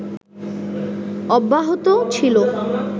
অব্যাহত ছিল